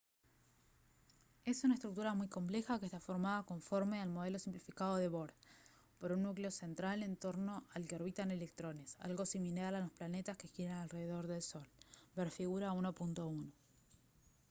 es una estructura muy compleja que está formada conforme el modelo simplificado de bohr por un núcleo central en torno al que orbitan electrones algo similar a los planetas que giran alrededor del sol ver figura 1.1